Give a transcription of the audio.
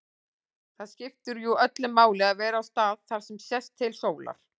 Það skiptir jú öllu máli að vera á stað þar sem sést til sólar.